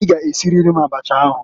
I g'esiriri abacha ahụǃ